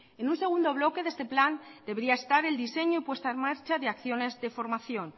en un segundo bloque de este plan debería estar el diseño y puesta en marcha de acciones de formación